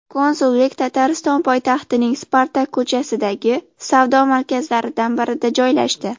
Konsullik Tatariston poytaxtining Spartak ko‘chasidagi savdo markazlaridan birida joylashdi.